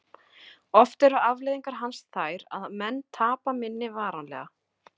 Oft eru afleiðingar hans þær að menn tapa minni varanlega.